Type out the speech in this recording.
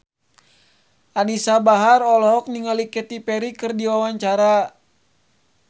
Anisa Bahar olohok ningali Katy Perry keur diwawancara